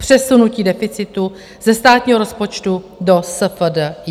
Přesunutí deficitu ze státního rozpočtu do SFDI.